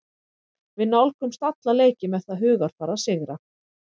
Við nálgumst alla leiki með það hugarfar að sigra.